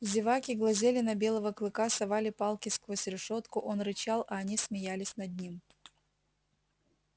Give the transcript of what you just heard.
зеваки глазели на белого клыка совали палки сквозь решётку он рычал а они смеялись над ним